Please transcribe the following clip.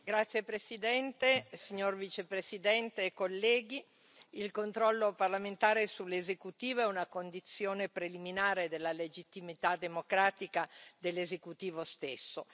Signor Presidente, signor Vicepresidente, onorevoli colleghi, il controllo parlamentare sull'esecutivo è una condizione preliminare della legittimità democratica dell'esecutivo stesso.